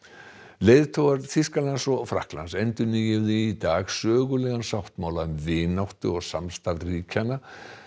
leiðtogar Þýskalands og Frakklands endurnýjuðu í dag sögulegan sáttmála um vináttu og samstarf ríkjanna